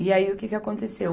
E aí o que que aconteceu?